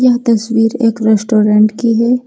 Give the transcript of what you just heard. यह तस्वीर एक रेस्टोरेंट की है।